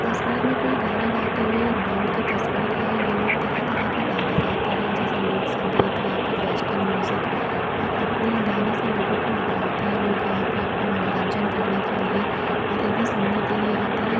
तस्वीर में कोई गाना गाते हुए एक बैंड की तस्वीर है। ये लोग तरह-तरह के गाना गाते हैं जैसे लोक संगीत या फिर वेस्टर्न म्यूजिक और अपनी गाने से लोगों को लोभवते है लोग अपना यहाँ पे अपना मनोरंजन करने के लिए और इन्हें सुनने लिए आते हैं।